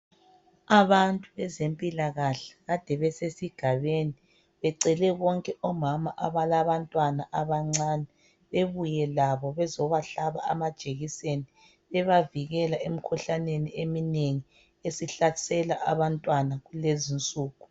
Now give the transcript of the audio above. Abantu bezempilakahle kade besesigabeni, becele bonke omama abalabantwana abancane bebuye labo bezobahlaba amajekiseni. Bebavikela emkhuhlaneni eminengi esihlasela abantwana kulezinsuku.